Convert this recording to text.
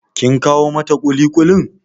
Kin kawo mata ƙuliƙulin?